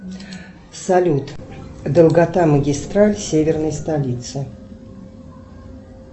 салют долгота магистраль северной столицы